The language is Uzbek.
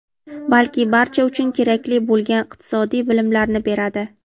balki barcha uchun kerakli bo‘lgan iqtisodiy bilimlarni beradi.